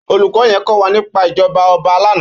Ólúkò yèn kòwá nipá ijòbá òbá làná